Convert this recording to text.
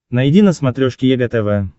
найди на смотрешке егэ тв